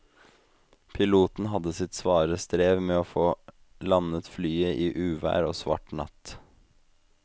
Piloten hadde sitt svare strev med å få landet flyet i uvær og svart natt.